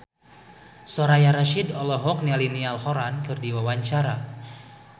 Soraya Rasyid olohok ningali Niall Horran keur diwawancara